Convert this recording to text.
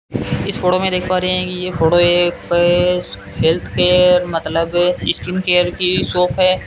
इस फोटो देख पा रहे कि ये फोटो एक हेल्थ केयर मतलब स्किन केयर की शॉप है।